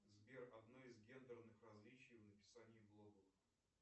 сбер одно из гендерных различий в написании блогов